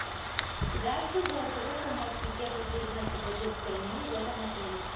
здравствуй голосовой помощник я хочу узнать про детское меню в этом отеле